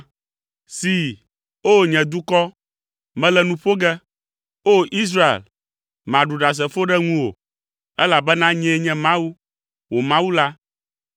“See, o nye dukɔ, mele nu ƒo ge, O! Israel, maɖu ɖasefo ɖe ŋuwò, elabena nyee nye Mawu, wò Mawu la.